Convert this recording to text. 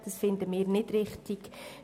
Das finden wir nicht richtig.